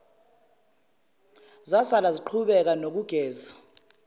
zasala ziqhubeka nokugeza